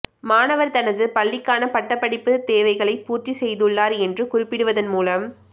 மாணவர் தனது பள்ளிக்கான பட்டப்படிப்பு தேவைகளை பூர்த்தி செய்துள்ளார் என்று குறிப்பிடுவதன் மூலம்